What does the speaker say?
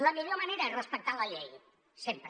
la millor manera és defensar la llei sempre